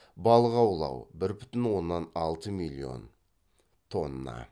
балық аулау бір бүтін оннан алты миллион тонна